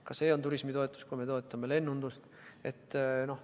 Ka see on turismitoetus, kui me toetame lennundust.